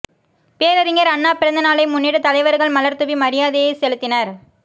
பேரறிஞர் அண்ணா பிறந்தநாளை முன்னிட்டு தலைவர்கள் மலர் தூவி மரியாதையை செலுத்தினர்